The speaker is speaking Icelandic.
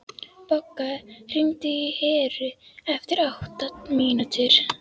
Bogga, hringdu í Heru eftir átta mínútur.